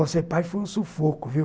Bom, ser pai foi um sufoco, viu?